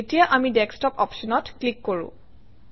এতিয়া আমি ডেস্কটপ অপশ্যনত ক্লিক কৰোঁ